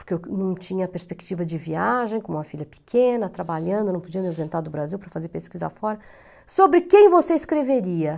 porque não tinha perspectiva de viagem, com uma filha pequena, trabalhando, não podia me ausentar do Brasil para fazer pesquisa fora, sobre quem você escreveria?